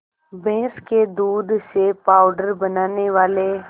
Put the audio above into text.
भैंस के दूध से पावडर बनाने वाले